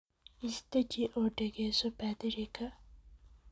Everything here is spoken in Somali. Isdaji oo dageso Badhirika.